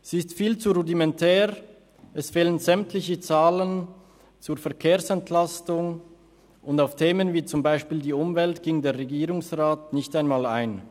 Sie ist viel zu rudimentär, es fehlen sämtliche Zahlen zur Verkehrsentlastung, und auf Themen wie zum Beispiel die Umwelt geht der Regierungsrat nicht einmal ein.